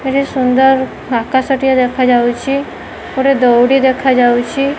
ଏଠି ସୁନ୍ଦର ଆକାଶଟିଏ ଦେଖା ଯାଉଚି। ଗୋଟେ ଦଉଡ଼ି ଦେଖା ଯାଉଚି।